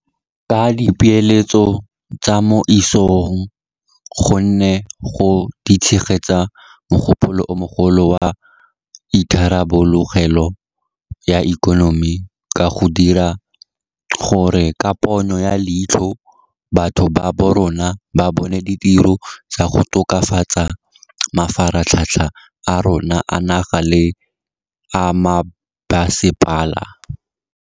Ke dipeeletso tsa mo isagong gonne di tshegetsa mogopolo o mogolo wa itharabologelo ya ikonomi ka go dira gore ka ponyo ya leitlho batho ba borona ba bone ditiro tsa go tokafatsa mafaratlhatlha a rona a naga le a mebasepala.